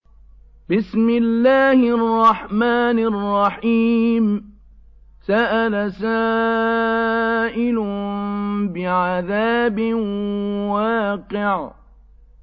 سَأَلَ سَائِلٌ بِعَذَابٍ وَاقِعٍ